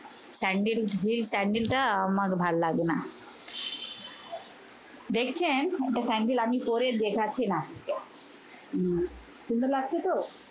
Sandal heel স্যান্ডেলটা আমাগ ভাল্লাগে না। দেখছেন আমি স্যান্ডেল পরে দেখাচ্ছি না সুন্দর লাগছে তো